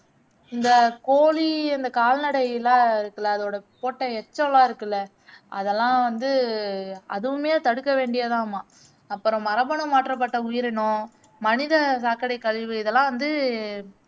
இந்த கோழி இந்த கால்நடையில இருக்குல்ல அதோட போட்ட எச்சம்லாம் இருக்குல்ல அதெல்லாம் வந்து அதுவுமே தடுக்க வேண்டியதாமாம் அப்பறம் மரபணு மாற்றப்பட்ட உயிரினம், மனித சாக்கடை கழிவு இதெல்லாம் வந்து